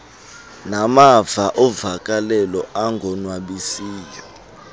namava ovakalelo angonwabisiyo